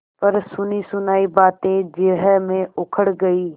पर सुनीसुनायी बातें जिरह में उखड़ गयीं